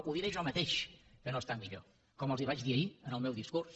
ho diré jo mateix que no està millor com els ho vaig dir ahir en el meu discurs